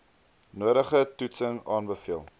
nodige toetsing aanbeveel